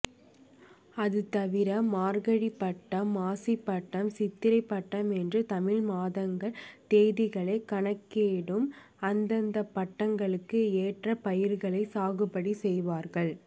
அதுதவிர மார்கழிப்பட்டம் மாசிப்பட்டம் சித்திரைப்பட்டம் என்றும் தமிழ் மாதங்கள் தேதிகளைக் கணக்கிட்டும் அந்தந்தப் பட்டத்துக்கு ஏற்ற பயிர்களைச் சாகுபடி செய்வார்கள்